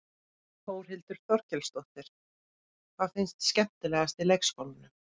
Þórhildur Þorkelsdóttir: Hvað finnst þér skemmtilegast í leikskólanum?